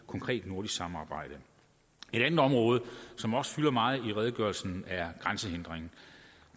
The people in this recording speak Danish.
konkret nordisk samarbejde et andet område som også fylder meget i redegørelsen er grænsehindringerne